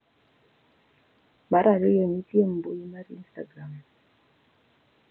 Mar ariyo, nitie mbui mar Instagram.